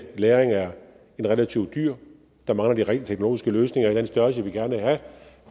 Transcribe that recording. lagring er relativt dyrt der mangler de rent teknologiske løsninger i den størrelse vi gerne vil have